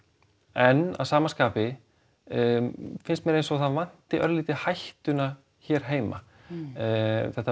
en að sama skapi finnst mér eins og það vanti örlítið hættuna hér heima þetta